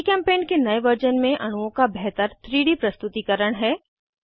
जीचेम्पेंट के नए वर्जन में अणुओं का बेहतर 3डी प्रस्तुतीकरण है